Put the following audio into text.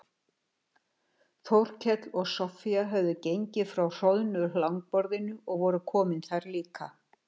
Þórkell og Soffía höfðu gengið frá hroðnu langborðinu og voru komin þar líka.